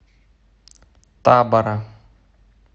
табора